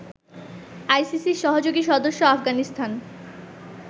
আইসিসির সহযোগী সদস্য আফগানিস্তান